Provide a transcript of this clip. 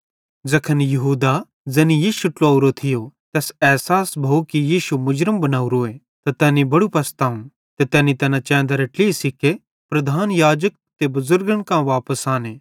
ज़ैखन यहूदा ज़ैनी यीशु ट्लुवेवरो थियो तैस एसास भोव कि यीशु मुर्ज़म बनोरोए त तैनी बड़ू पशतावं ते तैना चैंदरे ट्लही सिक्के प्रधान याजक ते बुज़ुर्गन कां वापस आने